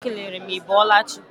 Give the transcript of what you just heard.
Ọ kelere m ị bọọla chi.